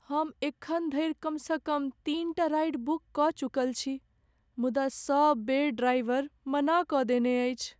हम एखन धरि कमसँ कम तीनटा राइड बुक कऽ चुकल छी, मुदा सब बेर ड्राइवर मना कऽ देने अछि।